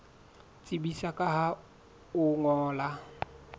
tsebisa ka ho o ngolla